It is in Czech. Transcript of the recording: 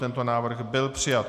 Tento návrh byl přijat.